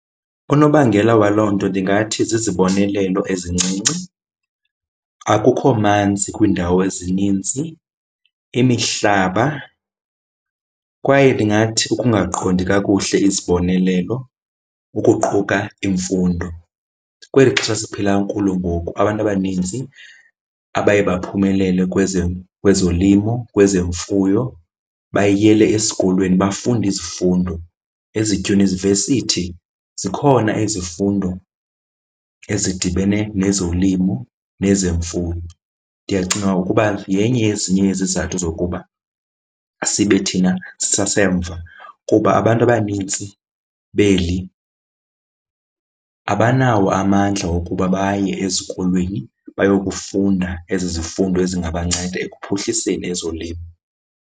Unobangela waloo nto ndingathi zizibonelelo ezincinci. Akukho manzi kwindawo ezininzi, imihlaba, kwaye ndingathi ukungaqondi kakuhle izibonelelo ukuquka imfundo. Kweli xesha siphila kulo ngoku abantu abaninzi abaye baphumelele kwezolimo, kwezemfuyo, bayiyele esikolweni bafunda izifundo. Ezidyunivesithi zikhona izifundo ezidibene nezolimo nezemfuyo. Ndiyacinga ukuba yenye yezinye yezizathu zokuba sibe thina sisasemva kuba abantu abanintsi beli abanawo amandla wokuba baye ezikolweni bayokufunda ezi zifundo ezingabanceda ekuphuhliseni ezolimo.